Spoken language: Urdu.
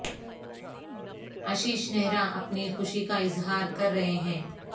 اشیش نہرا اپنی خوشی کا اظہار کر رہے ہیں